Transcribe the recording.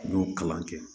N y'o kalan kɛ